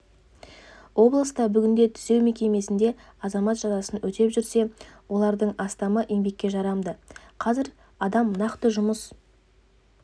облыста бүгінде түзеу мекемесінде азамат жазасын өтеп жүрсе олардың астамы еңбекке жарамды қазір адам нақты жұмыс